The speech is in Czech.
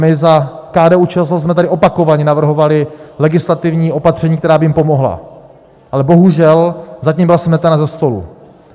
My za KDU-ČSL jsme tady opakovaně navrhovali legislativní opatření, která by jim pomohla, ale bohužel zatím byla smetena ze stolu.